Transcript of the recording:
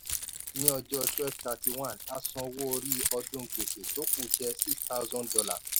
ní ọjọ́ twelve thirty one a san owó orí ọdún gbèsè tó ku jẹ six thousand dollars.